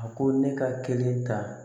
A ko ne ka kelen ta